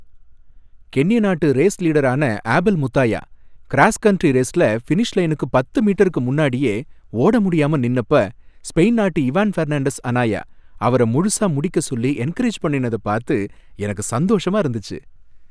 கென்ய நாட்டு ரேஸ் லீடரான Abel Mutai cross country ரேஸ்ல ஃபினிஷ் லைனுக்கு பத்து மீட்டருக்கு முன்னாடியே ஓட முடியாம நின்னப்ப, ஸ்பெயின் நாட்டு இவான் ஃபெர்னாண்டஸ் அனாயா, அவர முழுசா முடிக்க சொல்லி என்கரேஜ் பண்ணுனதை பார்த்து எனக்கு சந்தோஷமா இருந்துச்சு.